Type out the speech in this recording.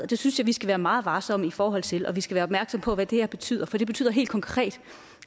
det synes jeg vi skal være meget varsomme i forhold til vi skal være opmærksomme på hvad det her betyder for det betyder helt konkret